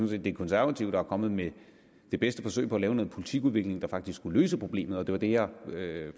det er de konservative der er kommet med det bedste forsøg på at lave noget politikudvikling der faktisk kunne løse problemet og det var det jeg